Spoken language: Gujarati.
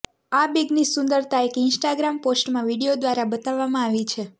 આ બેગની સુંદરતા એક ઇન્સ્ટાગ્રામ પોસ્ટમાં વીડિયો દ્વારા બતાવવામાં આવી છે